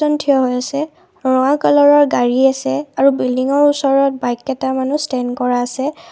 জন থিয় হৈ আছে ৰঙা কালাৰৰ গাড়ী আছে আৰু বিল্ডিংৰ ওচৰত বাইক কেইটামানো ষ্টেণ্ড কৰা আছে।